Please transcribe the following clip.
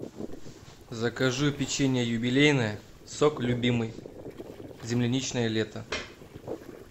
закажи печенье юбилейное сок любимый земляничное лето